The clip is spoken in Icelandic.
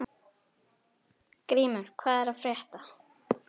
Grímur, hvað er að frétta?